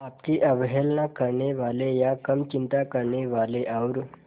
आपकी अवहेलना करने वाले या कम चिंता करने वाले और